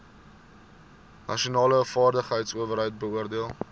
nasionale vaardigheidsowerheid beoordeel